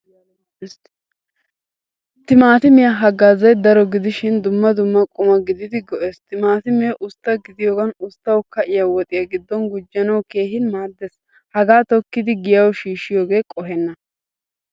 Timaatimiyaa haggazzay daro gidishin dumma dumma quma gididi go'ees. Timaatimme ustta gidiyogan, usttawu ka'iya woxiya giddon gujjanawu keehin maaddees. Hagaa tokkidi giyawu shiishiyoge qoheena.